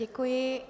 Děkuji.